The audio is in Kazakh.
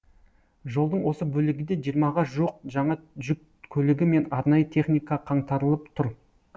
жолдың осы бөлігінде жиырмаға жуық жаңа жүк көлігі мен арнайы техника қаңтарылып тұр